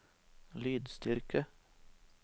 lydstyrke